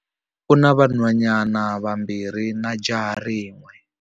U na vanhwanyana vambirhi na jaha rin'we.